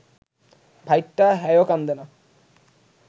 ভাইটা, হ্যায়ও কান্দে না